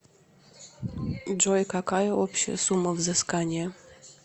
джой какая общая сумма взыскания